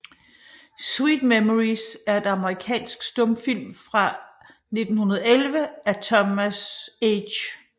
Sweet Memories er en amerikansk stumfilm fra 1911 af Thomas H